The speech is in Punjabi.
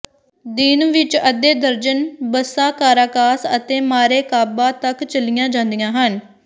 ਦਿਨ ਵਿਚ ਅੱਧੇ ਦਰਜਨ ਬੱਸਾਂ ਕਾਰਾਕਾਸ ਅਤੇ ਮਾਰੈਕਾਬਾ ਤੱਕ ਚਲੀਆਂ ਜਾਂਦੀਆਂ ਹਨ